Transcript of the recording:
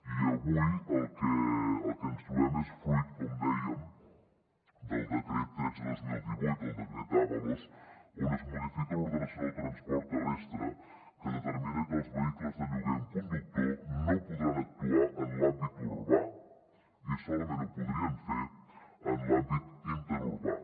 i avui el que ens trobem és fruit com dèiem del decret tretze dos mil divuit el decret ábalos on es modifica l’ordenació del transport terrestre que determina que els vehicles de lloguer amb conductor no podran actuar en l’àmbit urbà i solament ho podrien fer en l’àmbit interurbà